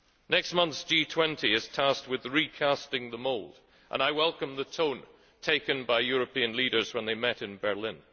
Next month's G20 is tasked with recasting the mould, and I welcome the tone taken by European leaders when they met in Berlin.